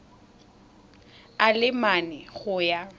a le mane go ya